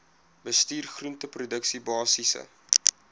bestuur groenteproduksie basiese